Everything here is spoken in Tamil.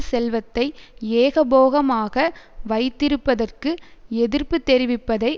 செல்வத்தை ஏகபோகமாக வைத்திருப்பதற்கு எதிர்ப்பு தெரிவிப்பதை